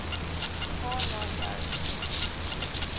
gaan na jou